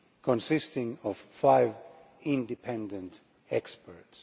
consisting of five independent experts.